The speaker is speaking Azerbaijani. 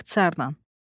İxtisarən.